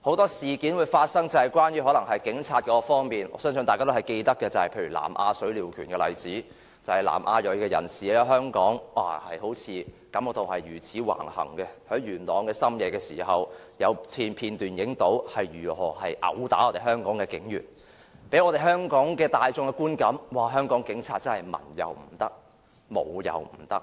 很多事件的發生，可能也與警察有關，相信大家也記得，例如南亞水鳥拳事件，就可看到南亞裔人士在香港是如此橫行，是在深夜時分，有片段拍攝到他們於元朗毆打香港警員，而給予香港大眾的觀感，也是認為香港警察文也不行、武也不行。